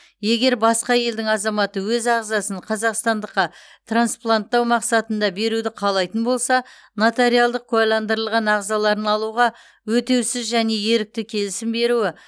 егер басқа елдің азаматы өз ағзасын қазақстандыққа транспланттау мақсатында беруді қалайтын болса нотариалдық куәландырылған ағзаларын алуға өтеусіз және ерікті келісім беруі